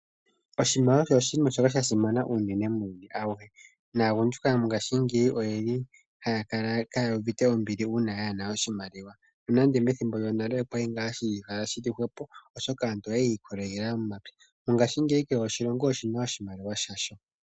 Oshimaliwa oshinima shoka shasinana unene muuyuni awuhe. Naagundjuka mongashiingeyi oyeli haya kala ka ya uvite ombili uuna yaa hena oshimaliwa, nonando methimbo lyonale okwali ngaa hashikala shili hwepo, oshoka aantu okwali yiikokelela momapya. Mongashiingeyi kehe oshilonga oshina oshimaliwa shasho.